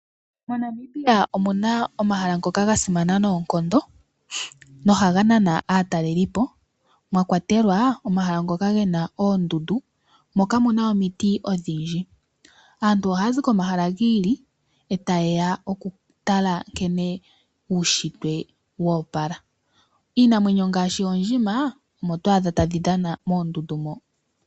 Mo Namibia omuna omahala ngoka gasimana noonkondo no haganana aatalelipo mwakwatelwa omahala ngoka gena oondundu mo kamuna omiti odhindji. Aantu ohazi ko mahala giili eta yeya okutala nkene uushitwe woopala iinamwenyo ngaashi oondjima omo oto adha tadhi dhana moondundu mo.